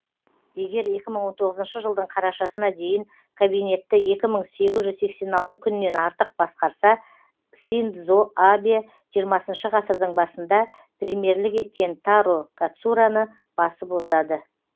егер екі мың он тоғызыншы жылдың қарашасына дейін кабинетті екі мың сегіз жүз сексен алты күннен артық басқарса синдзо абэ жиырмасыншышы ғасырдың басында премьерлік еткен таро катсураны басып озады